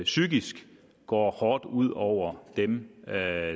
psykisk går hårdt ud over dem der er